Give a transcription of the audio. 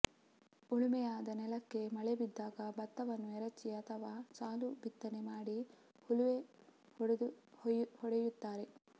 ಉಳುಮೆಯಾದ ನೆಲಕ್ಕೆ ಮಳೆ ಬಿದ್ದಾಗ ಭತ್ತವನ್ನು ಎರಚಿ ಅಥವಾ ಸಾಲು ಬಿತ್ತನೆ ಮಾಡಿ ಹಲುವೆ ಹೊಡೆಯುತ್ತಾರೆ